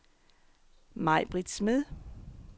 Maibritt Smed